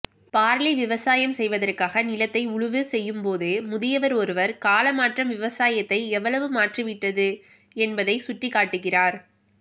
barley விவசாயம் செய்வதற்காக நிலத்தை உழுவு செய்யும் போது முதியவர் ஒருவர் காலமாற்றம் விவசாயத்தை எவ்வளவு மாற்றிவிட்டது என்பதைச் சுட்டிக்காட்டுகிறார்